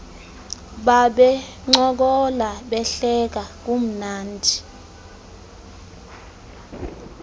babencokola behleka kumnandi